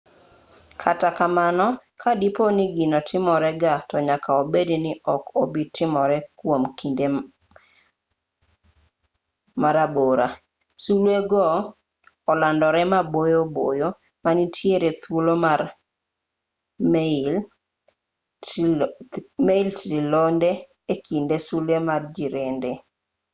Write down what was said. kata kamano ka dipo ni gino timore ga to nyaka bed ni ok obi timore kwom kinde marabora sulwe go olandore maboyo boyo ma nitiere thuolo mar mail trilionde e kind sulwe ma jirende